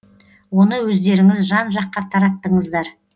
оны өздеріңіз жан жаққа тараттыңыздар